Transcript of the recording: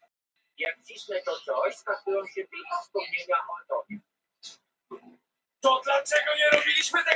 Þar var enginn en ég sá glitta í eitthvað í grasinu.